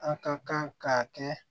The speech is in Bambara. An ka kan ka kɛ